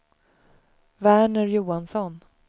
Verner Johansson